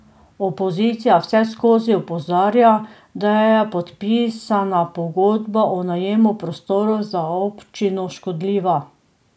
Opozicija vseskozi opozarja, da je podpisana pogodba o najemu prostorov za občino škodljiva.